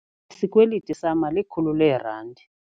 Isikweliti sama likhulu leerandi.